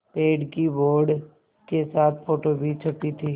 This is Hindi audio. पेड़ की बोर्ड के साथ फ़ोटो भी छपी थी